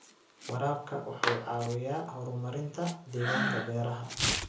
Waraabka wuxuu caawiyaa horumarinta deegaanka beeraha.